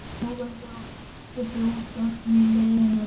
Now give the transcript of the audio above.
Nú verður okkur fljótfarin leiðin heim á Grund.